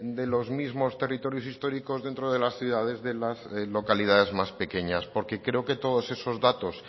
de los mismos territorios históricos dentro de las ciudades de las localidades más pequeñas porque creo que todos esos datos